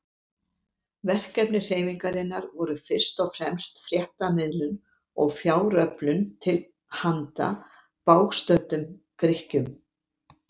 Verkefni hreyfingarinnar voru fyrst og fremst fréttamiðlun og fjáröflun til handa bágstöddum Grikkjum.